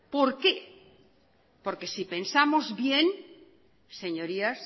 por qué porque si pensamos bien señorías